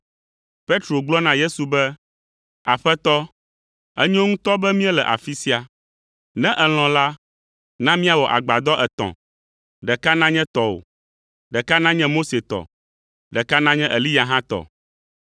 Petro gblɔ na Yesu be, “Aƒetɔ, enyo ŋutɔ be míele afi sia! Ne èlɔ̃ la, na míawɔ agbadɔ etɔ̃, ɖeka nanye tɔwò, ɖeka nanye Mose tɔ, ɖeka nanye Eliya hã tɔ.”